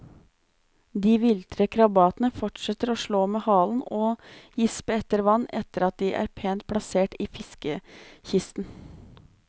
De viltre krabatene fortsetter å slå med halen og gispe etter vann etter at de er pent plassert i fiskekisten.